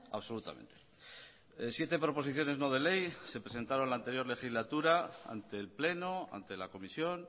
absolutamente siete proposiciones no de ley se presentaron en la anterior legislatura ante el pleno ante la comisión